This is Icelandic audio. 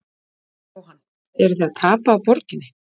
Jóhann: Eruð þið að tapa á borginni?